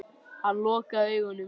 Hann lokaði augunum.